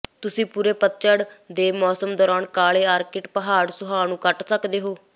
ਤੁਸੀਂ ਪੂਰੇ ਪਤਝੜ ਦੇ ਮੌਸਮ ਦੌਰਾਨ ਕਾਲੇ ਆਰਟਿਕ ਪਹਾੜ ਸੁਆਹ ਨੂੰ ਕੱਟ ਸਕਦੇ ਹੋ